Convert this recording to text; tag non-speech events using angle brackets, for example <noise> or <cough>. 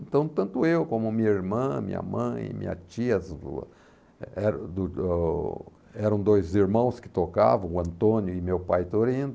Então tanto eu como minha irmã, minha mãe, minha tia, <unintelligible> eram do do eram dois irmãos que tocavam, o Antônio e meu pai Torendo.